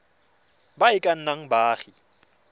ba e ka nnang baagi